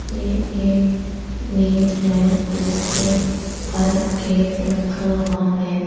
ये एक मेज है जिसके ऊपर केक रखा हुआ है।